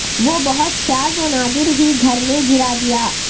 وہ بہت شاذ و نادر ہی گھر میں گرا دیا